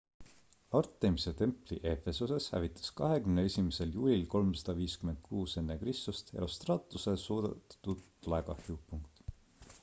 artemise templi efesoses hävitas 21 juulil 356 ekr herostratuse süüdatud tulekahju